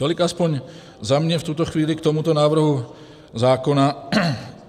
Tolik aspoň za mě v tuto chvíli k tomuto návrhu zákona.